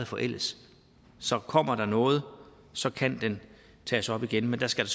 forældes kommer der noget så kan den tages op igen men da skal